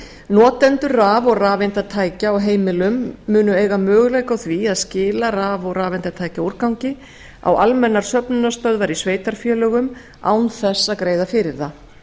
notendur raf og rafeindatækja á heimilum munu eiga möguleika á því að skila raf og rafeindatækjaúrgangi á almennar söfnunarstöðvar í sveitarfélögum án þess að greiða fyrir það